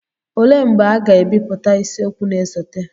olee mgbe a ga-ebipụta isiokwu na-esote